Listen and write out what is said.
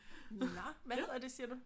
Nå! Hvad hedder det siger du?